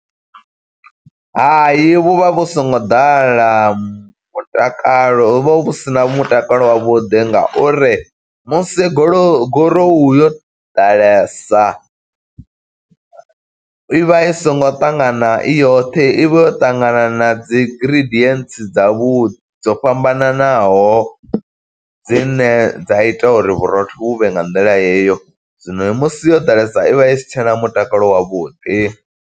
Hayi vhu vha vhu songo ḓala mutakalo, hu vha hu sina mutakalo wavhuḓi, nga uri musi golou gorowu yo ḓalesa, i vha i songo ṱangana i yoṱhe. I vha yo ṱangana na dzi ingridients dza vhu, dzo fhambananaho dzine dza ita uri vhurotho vhu vhe nga nḓila heyo. Zwino musi yo ḓalesa i vha isi tshena mutakalo wavhuḓi.